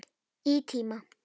Í tíma.